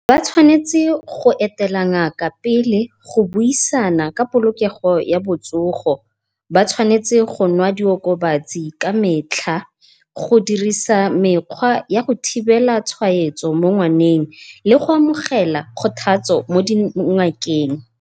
Ba tshwanetse go etela ngaka pele, go buisana ka polokego ya botsogo. Ba tshwanetse go nwa di okobatsi ka metlha, godirisa mekgwa ya go thibela tshwaetso mo ngwaneng le go amogela kgothatso mo dingakeng.